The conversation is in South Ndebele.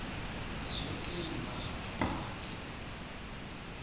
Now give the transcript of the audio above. zoke iinarha ngaphandle